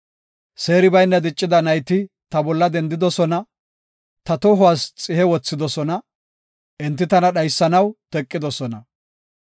Seeri bayna diccida nayti ta bolla dendidosona; ta tohuwas xihe wothidosona; enti tana dhaysanaw teqidosona.